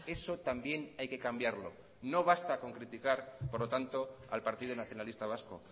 eso también hay que cambiarlo no basta con criticar por lo tanto al partido nacionalista vasco